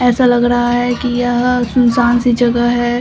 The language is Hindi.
ऐसा लग रहा है कि यह सुनसान सी जगह है।